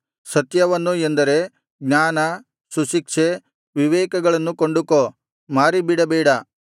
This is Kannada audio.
ಸತ್ಯವನ್ನು ಎಂದರೆ ಜ್ಞಾನ ಸುಶಿಕ್ಷೆ ವಿವೇಕಗಳನ್ನು ಕೊಂಡುಕೋ ಮಾರಿ ಬಿಡಬೇಡ